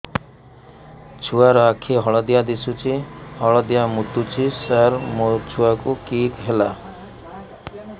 ଛୁଆ ର ଆଖି ହଳଦିଆ ଦିଶୁଛି ହଳଦିଆ ମୁତୁଛି ସାର ମୋ ଛୁଆକୁ କି ହେଲା